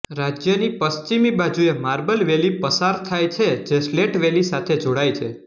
રાજ્યની પશ્ચિમી બાજુએ માર્બલ વેલી પસાર થાય છે જે સ્લેટ વેલી સાથે જોડાય છે